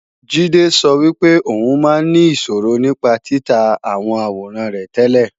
Jídé sọ wípé ò ń máa ń ní ìṣòro nípa títa àwọn àwòrán rẹ tẹ́lẹ̀